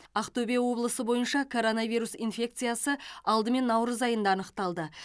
ақтөбе облысы бойынша коронавирус инфекциясы алдымен наурыз айында анықталды